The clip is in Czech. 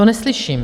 To neslyším.